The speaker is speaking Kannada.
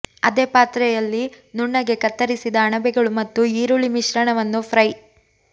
ಅದೇ ಪಾತ್ರೆಯಲ್ಲಿ ನುಣ್ಣಗೆ ಕತ್ತರಿಸಿದ ಅಣಬೆಗಳು ಮತ್ತು ಈರುಳ್ಳಿ ಮಿಶ್ರಣವನ್ನು ಫ್ರೈ